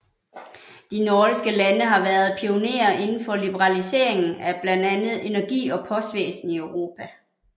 De nordiske lande har været pionerer inden for liberaliseringen af blandt andet energi og postvæsen i Europa